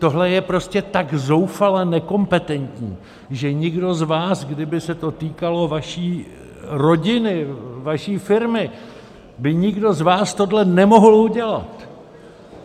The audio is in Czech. Tohle je prostě tak zoufale nekompetentní, že nikdo z vás, kdyby se to týkalo vaší rodiny, vaší firmy, by nikdo z vás tohle nemohl udělat!